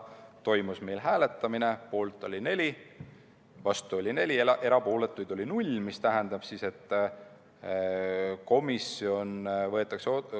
Toimus hääletamine, poolt oli 4, vastu oli 4, erapooletuks jäi null komisjoni liiget.